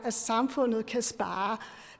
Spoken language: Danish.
samfundet kan spare